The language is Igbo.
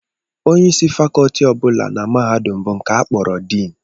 Onyeisi fakọlti ọ bụla na mahadum bụ nke a kpọrọ diin